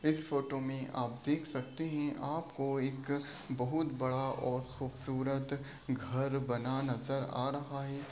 इस फोटो में आप देख सकते है आपको एक बहोत बड़ा और खूबसूरत घर बना नजर आ रहा है।